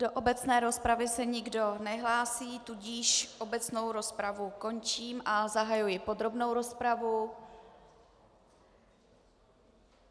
Do obecné rozpravy se nikdo nehlásí, tudíž obecnou rozpravu končím a zahajuji podrobnou rozpravu.